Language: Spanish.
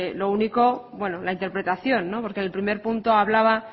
lo único la interpretación porque el primer punto hablaba